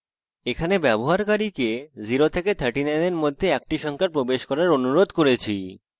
এখানে আমরা ব্যবহারকারীদের 0 থেকে 39 এর মধ্যে একটি সংখ্যা প্রবেশ করার অনুরোধ করেছি